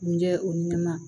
Nin jɛ o ɲɛnɛma